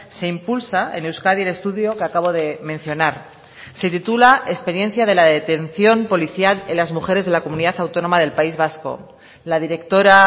se impulsa en euskadi el estudio que acabo de mencionar se titula experiencia de la detención policial en las mujeres de la comunidad autónoma del país vasco la directora